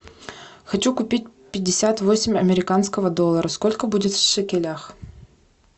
хочу купить пятьдесят восемь американских долларов сколько будет в шекелях